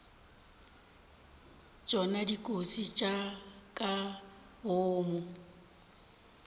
tšona dikotsi tša ka boomo